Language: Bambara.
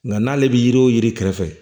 Nka n'ale bɛ yiri o yiri kɛrɛfɛ